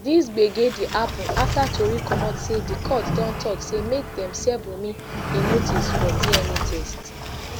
dis gbege dey happun afta tori comot say di court don tok say make dem serve wunmi a notice for dna test